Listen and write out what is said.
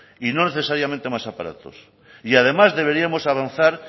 y no necesariamente más aparatos y además deberíamos avanzar